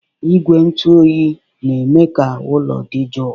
Igwe ntụ oyi na-eme ka ụlọ dị jụụ.